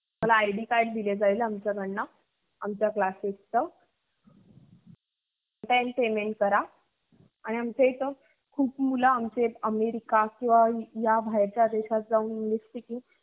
तुह्माला id card दिल जाऊ आमस्याकडुन आमचा classes च payment करा. आमस्याकडे खुप student america या बाहेरच्या देशात जाऊन english speaking